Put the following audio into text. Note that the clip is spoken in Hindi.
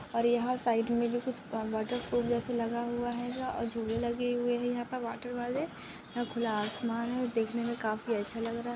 और यहाँ साईड मे भी कुछ वॉटर जैसे लगा हुआ रहेगा और झूले लगे हुए है यहाँ पर वॉटर वाले यहा खुला आसमान है देखने मे काफी अच्छा लग रहा है।